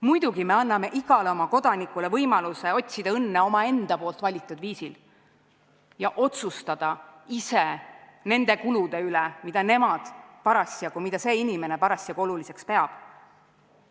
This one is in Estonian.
Muidugi me anname igale oma kodanikule võimaluse otsida õnne omaenda poolt valitud viisil ja otsustada ise nende kulude üle, mida see inimene parasjagu oluliseks peab.